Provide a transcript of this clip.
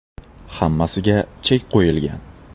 Hammasiga chek qo‘yilgan.